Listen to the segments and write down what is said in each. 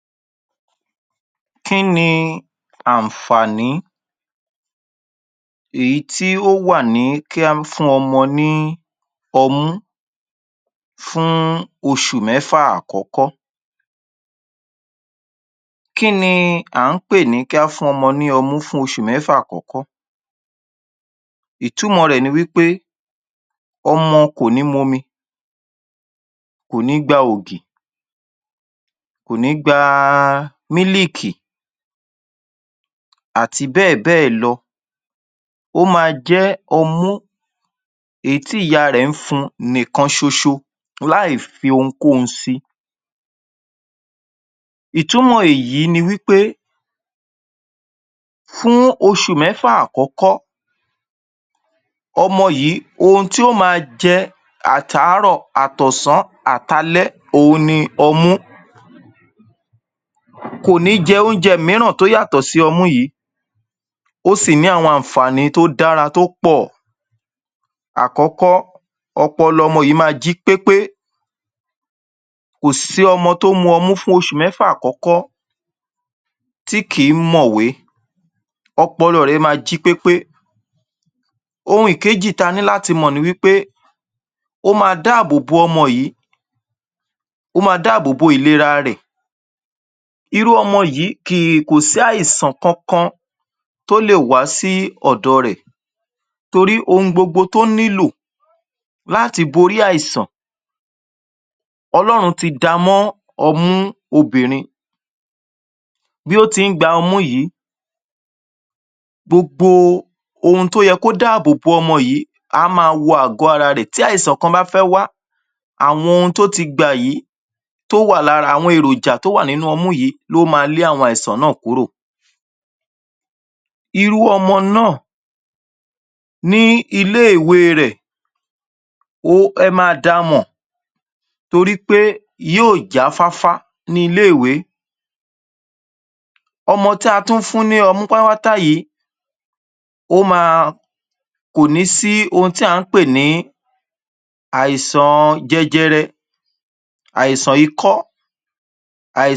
ẹ̀kọ́ tí kì í ṣe dédé jẹ́ ẹ̀kọ́ tí elétò ní ìtá erò ilé-ìwé bí i àwọn etò agbègbé ẹ̀kọ́ àgbà tàbí ìkẹ́ẹ̀kọ̀ àyè iṣe àwọn ẹ̀kọ́ yìí jẹ́ àwọn ẹ̀kọ́ tí kì i ṣéẹ̀kọ́ ilé-ìwé òyàfọ̀ sí àwọn ẹ̀kọ́ ilé-ìwé àwọn bí àwọn ẹ̀kọ́ àgbà àwọn ẹ̀kọ́ arúgbó tó yàtọ̀ sí ti àwọn ilé-ìwé ó jẹ́ àníyàn àti ṣètò súgbọ́n ìrọ̀rùn díẹ̀ sí ì jú ẹ̀kọ́ iṣẹ́ lọ́ ọ́ nígbá gbogbo ní ifọ̀kànsí làti dàgbà sókè àwọn ọgbọ́n tàbí ìmúdára dídára ìgbésí ayé ko dàbí ẹ̀kọ́ tí kò í ṣe alàyé ẹ̀kọ́ tí kìí ṣe déédéé ni àwọn íbí afẹ́dé kànkán pàtó pé áṣe àpẹẹrẹ nígbà gbogbo láti pàde àwọn ìwúlò tí ẹ̀gbẹ́ kan an àwọn ẹ̀kọ́ yìí yàtọ̀ sí àwọn ẹ́kọ́ ilé-ẹ̀kọ́ ó jẹ́ ẹ̀kọ́ tí ó dádúró tí ènìyàn lé é gbà fún àwọn ọmọ èyàn tí í yàtọ̀ sí ẹ̀kọ́ ilé-ìwé gan-gan gan-gan so àwọn ẹ̀kọ́ yìí èyí ni àwọn àlàyé díẹ̀ sí í tí ó mọ̀ ń mọ̀ tí a sì ẹ̀kọ́ tí á mọ̀ ọ́ mọ̀ ọ̀ àti tí átètè kọ̀ ọ́ tí ì ṣé déédéé tí gbèeèrò àti ṣetó kò dàbí ẹ̀kọ́ tí kìí ṣàlàyéèyí tí ó ṣẹ̀lẹ̀ láti láì rò tẹ́lẹ̀ ìmí í tún ni ẹ̀kó ìtọ́kasí ẹ̀kọ́ ìtọ́kasí ó wáyé ní ìtá ètó ilé-ìwé ìbílẹ̀ ní àwọn ètò ní àwọn ètò bí àwọn ilé-iṣé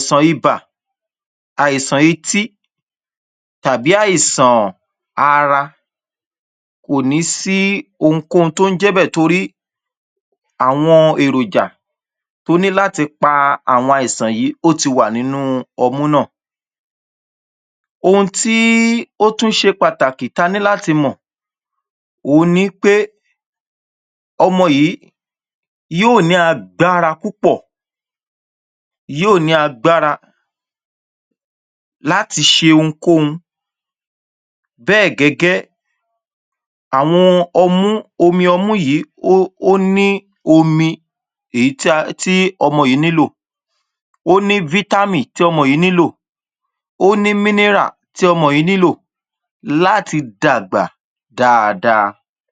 agbègbè àwọn iṣé tàbí orí ayélujára àwọn ẹ̀kọ́ ìtọ́kasí ní àwọn ǹkan tí ènìyàn lé è rì í ní agbégbé wá ǹkan tí àlè fo jú rí ní bi orí ayélujára kí ènìyàn ma n ṣe ìdánwò lóri ayélujára ké yàn ma a ṣe oríṣiríṣi lóri ayélujára irú bẹ̀ ẹ̀ ní ẹ̀kọ́ ìtọ́kasí olùkọ́ ní dokúkọ nígbàgbogbo afojúsi lóri ìpàdé àwọn ìwúlò tí olùkọ́ ní gbà gbogbo ní ìpò àti àtinúwá ìmíràn ní àwọn ìdí inú ẹ̀kọ́ kan pàtó àwọn ìdí ẹ̀kọ́ kan pàtó ó ṣe ìfọkànsí láti ṣe ídàgbàsókè àwọn ọgbọ́n kan pàtó ìmọ̀ tàbí àwọn agbára àwọn ìdí ẹ̀kọ́ kan pàtó yìí ní ó má ń idàgbàsókè àwọn ọgbọ́n kan àbí ìmọ̀ ó má ṣe idàgbàsókè àwọn ìmọ̀ àwọn ohun agbára díẹ̀ àpẹẹrẹ a lè ṣe àpẹẹrẹ yí àwọn ẹ̀kọ́ tí kì í ṣe déédéé àpẹẹrẹ ní agbègbè oríṣi ìkẹ́kọ̀ọ́ ètó ibi tí a bá ń tí í kẹ́ ẹ̀kọ́ agbègbè ibẹ̀ ǹkan tún ni err ìmíràn ní àwọn ètò ìmòwé atúnní àwọn iṣé ayélujára àti àwọn orísun ètò ẹ̀kọ́ sí í ìbáṣepọ̀ ìlú àtí ìgbà iyòǹda